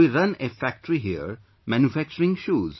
We run a factory here, manufacturing shoes